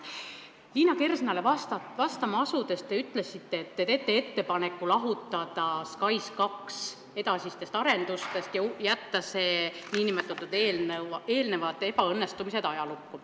Liina Kersnale vastama asudes te ütlesite, et te teete ettepaneku lahutada SKAIS2 edasistest arendustest ja jätta need eelnevad ebaõnnestumised ajalukku.